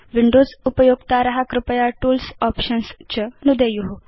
Windows उपयोक्तार कृपया tools options च नुदेयु